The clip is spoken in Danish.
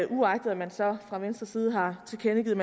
uagtet at man så fra venstres side har tilkendegivet